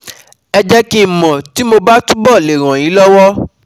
Ẹ jẹ́ kí n mọ̀ tí mo bá túbọ̀ le ràn yín lọ́wọ́